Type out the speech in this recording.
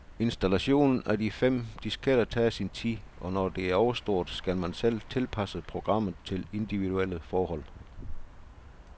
Installationen af de fem disketter tager sin tid, og når det er overstået, skal man selv tilpasse programmet til individuelle forhold.